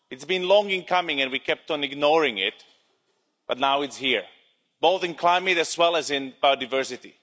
It's been long in coming and we kept on ignoring it, but now it's here, both in climate as well as in biodiversity.